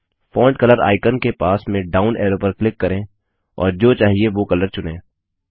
font colour icon के पास में डाउन एरो पर क्लिक करें और जो चाहिए वो कलर चुनें